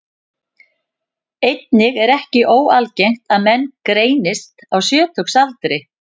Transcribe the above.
Einnig er ekki óalgengt að menn greinist á sjötugsaldri.